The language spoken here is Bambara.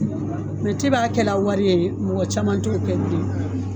Mɛ depi a kɛlɛ wari ye mɔgɔ caman t'o kɛ bilen